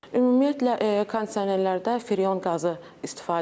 Ümumiyyətlə kondisionerlərdə freon qazı istifadə olunmur.